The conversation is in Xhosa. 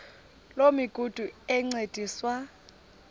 loo migudu encediswa